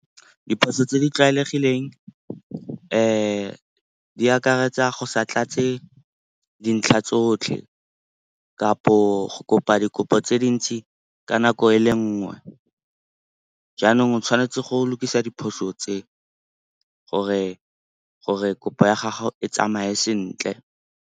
Diphoso tse di tlwaelegileng di akaretsa go sa tlatse dintlha tsotlhe kapo go kopa dikopo tse di ntsi ka nako e le nngwe. Jaanong o tshwanetse go lokisa diphoso tse gore kopo ya gago e tsamaye sentle.